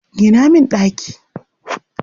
Gina min ɗaki.